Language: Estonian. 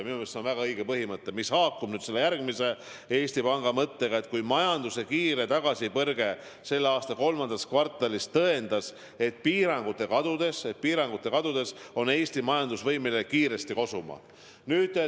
Minu meelest see on väga õige mõte, mis haakub veel ühe Eesti Panga mõttega, et majanduse kiire tagasipõrge selle aasta kolmandas kvartalis tõendas, et piirangute kadudes on Eesti majandus võimeline kiiresti kosuma.